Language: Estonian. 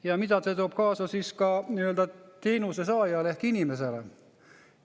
Ja mida see toob kaasa teenuse saajale ehk inimesele?